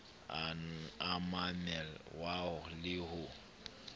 a mamel wa le ho